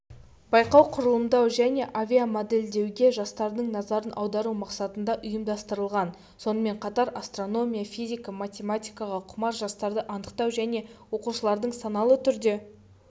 байқау құрылымдау және авиамодельдеуге жастардың назарын аудару мақсатында ұйымдастырылған сонымен қатар астрономия физика математикаға құмар жастарды анықтау және оқушылардың саналы түрде